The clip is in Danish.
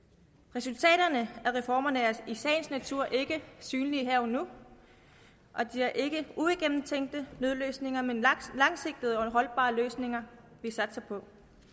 resultaterne af reformerne er i sagens natur ikke synlige her og nu det er ikke uigennemtænkte nødløsninger men langsigtede og holdbare løsninger vi satser på